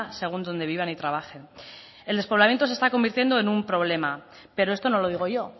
según donde vivan y trabajen el despoblamiento se está convirtiendo en un problema pero esto no lo digo yo